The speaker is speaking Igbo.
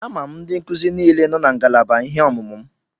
Ama m ndị nkuzi niile nọ na ngalaba ihe ọmụmụ m.